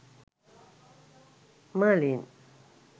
merlin